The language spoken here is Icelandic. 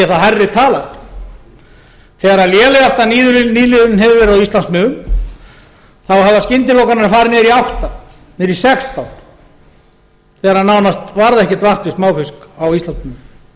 það hærri tala þegar lélegasta nýliðunin hefur verið á íslandsmiðum hafa skyndilokanir farið niður í átta niður í sextán þegar nánast varð ekkert vart við smáfisk á íslandsmiðum